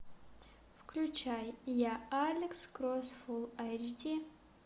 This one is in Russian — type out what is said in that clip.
включай я алекс кросс фул айч ди